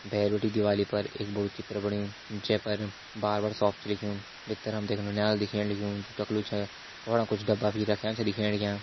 भैर बिटि दिवाली पर एक बड़ु चित्र बण्युं जै पर बार्बर शॉप छ लिख्युं भितर हम ते एक नौनियाल दिखेण लग्युं जु टकलू छे वफणा कुछ डब्बा भी रख्यां छ दिखेण लग्यां।